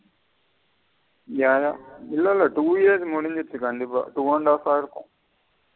யா yeah இல்ல இல்ல கண்டிப்பா two கண்டஃ ஆ இருக்கும்.